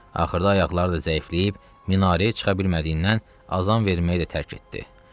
Axırda ayaqları da zəifləyib, minarəyə çıxa bilmədiyindən azan verməyi də tərk etdi.